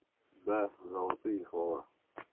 да золотые слова